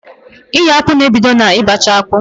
Iyo akpụ na ebido na ị bacha akpụ